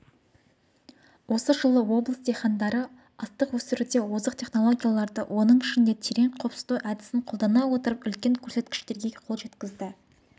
осы жылы облыс диқандары астық өсіруде озық технологияларды оның ішінде терең қопсыту әдісін қолдана отырып үлкен көрсеткіштерге қол жеткізді